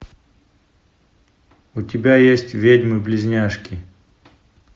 у тебя есть ведьмы близняшки